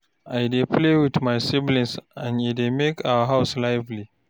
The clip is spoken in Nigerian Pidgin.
I dey play wit my siblings and e dey make our house lively.